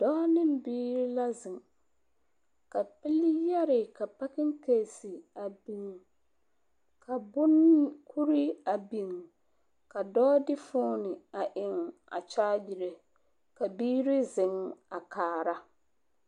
Dɔɔ ne biiri la zeŋ. Ka pili yɛre ka pakeŋkeesi a biŋ, ka boŋ…, kuri… a biŋ, ka dɔɔ de fooni a eŋ a kyaagire, ka biiri zeŋ a kaara.